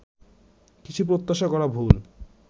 কিছু প্রত্যাশা করা ভুল